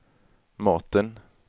maten